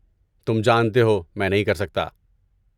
تم جانتے ہو میں نہیں کر سکتا۔